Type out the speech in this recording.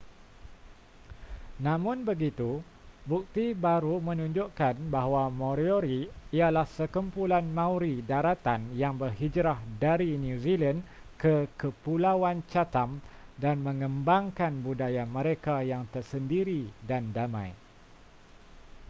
namun begitu bukti baru menunjukkan bahawa moriori ialah sekumpulan maori daratan yang berhijrah dari new zealand ke kepulauan chatham dan mengembangkan budaya mereka yang tersendiri dan damai